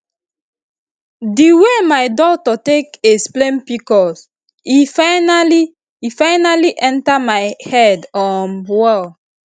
di way my doctor take explain pcos e finally e finally enter my head um well